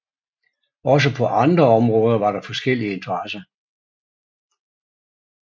Også på andre områder var der forskellige interesser